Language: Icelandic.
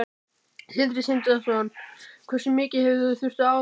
Sindri Sindrason: Hversu mikið hafið þið þurft að afskrifa?